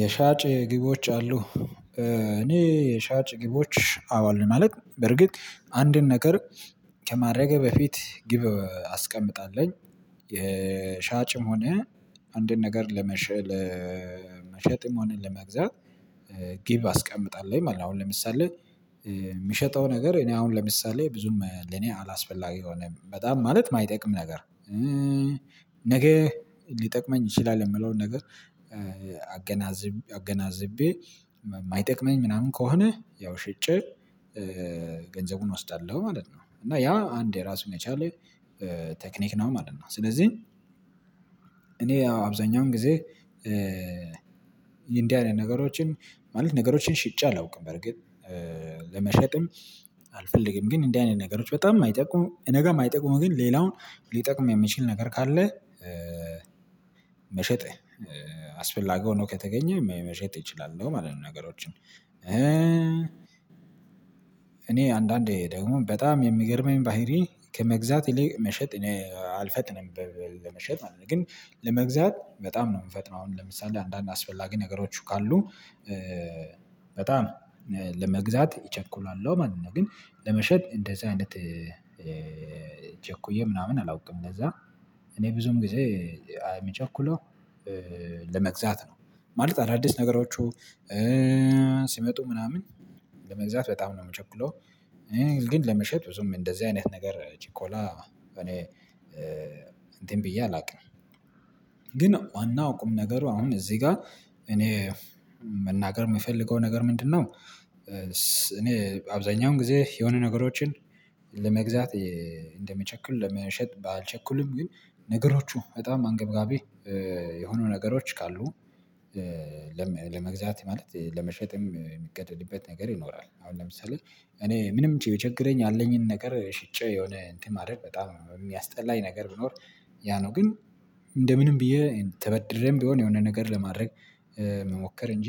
የሻጭ ግቦች አሉ። እኔ የሻጭ ግቦች አዎ አለ ማለት በርግጥ አንድን ነገር ከማድረጌ በፊት ግብ አስቀምጣለው የሻጭም ሆነ አንድን ነገር ለመሸጥ ለመሸጥም ሆነ ለመግዛት ግብ አስቀምጣለሁ ማለት ነው። አሁን ለምሳሌ የምሸጠው ነገር እኔ አሁን ለምሳሌ ብዙም ለኔ አላስፈላጊ የሆነ በጣም ማለት ማይጠቅም ነገር። ነገ ሊጠቅመኝ ይችላል የምለውን ነገር አገናዝቤ የማይጠቅመኝ ምናምን ከሆነ ያው ሽጬ ገንዘቡን እወስዳለሁ ማለት ነው። እና ያ አንድ የራሱን የቻለ ቴክኒክ ነው ማለት ነው። ስለዚህ እኔ አብዛኛውን ጊዜ እንዲህ አይነት ነገሮችን ማለት ነገሮችን ሽጬ አላውቅም። በርግጥ ለመሸጥም አልፈልግም። ግን እንደዚህ አይነት ነገሮች በጣም አይጠቁምም ነገር አይጠቁምም ግን ሌላውን ሊጠቅም የሚችል ነገር ካለ መሸጥ አስፈላጊ ሆኖ ከተገኘ መሸጥ ይችላል። እንደውም አለን ነገሮችን እኔ አንዳንዴ ደግሞ በጣም የሚገርመኝ ባህሪ ከመግዛት ይልቅ መሸጥ አልፈጥንም ለመሸጥ ማለት ነው። ግን ለመግዛት በጣም ነው የምፈጥመው። አሁን ለምሳሌ አንዳንድ አስፈላጊ ነገሮች ካሉ በጣም ለመግዛት ይቸኩላለው ማለት ነው። ግን ለመሸጥ እንደዚህ አይነት ቸኩዬ ምናምን አላውቅም እንደዛ እኔ ብዙም ጊዜ የምቸኩለው ለመግዛት ነው። ማለት አዳዲስ ነገሮቹ ሲመጡ ምናምን ለመግዛት በጣም ነው የምቸኩለው። ግን ለመሸጥ ብዙም እንደዚህ አይነት ነገር ችኮላ እኔ እንትን ብዬ አላውቅም። አናውቅም ነገር አሁን እዚህ ጋር እኔ መናገር የምፈልገው ነገር ምንድነው? እኔ አብዛኛውን ጊዜ የሆነ ነገሮችን ለመግዛት እንደምቸኩል ለመሸጥ አልቸኩሉም። ግን ነገሮቹ በጣም አንገብጋቢ የሆኑ ነገሮች ካሉ ለመግዛት ማለት ለመሸጥም የምገደድበት ነገር ይኖራል። አሁን ለምሳሌ እኔ ምንም የቸገረኝ ያለኝን ነገር ሽጬ የሆነ እንትን ማድረግ በጣም የሚያስጠላኝ ነገር ቢኖር ያ ነው። ግን እንደ ምንም ብዬ ተበድሬም ቢሆን የሆነ ነገር ለማድረግ መሞከር እንጂ።